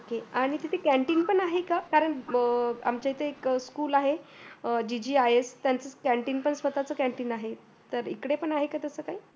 आणि तिथे canteen पण आहे का कारण आमच्या इथे एक school आहे जी जी आय एस त्यांचं स्वतच canteen आहे तर इकडे पण आहे का तसं काही